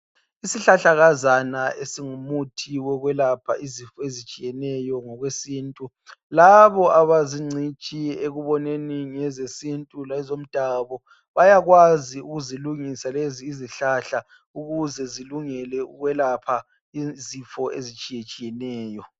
Isihlahlakazana esingumuthi wokwelapha izifo ezitshiyeneyo ngokwesintu. Labo abazingcitshi ekuboneni ngezesintu lezomdabu bayakwazi ukuzilungisa lezizihlahla ukuze zilungele ukwelapha izifo ezitshiyetshiyeneyo.